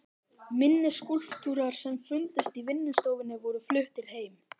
Minni skúlptúrar sem fundust í vinnustofunni voru fluttir heim.